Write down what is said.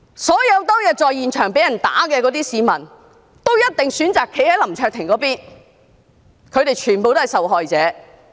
所有當天在現場被打的市民，也一定選擇站在林卓廷議員那一方，他們全都是受害者。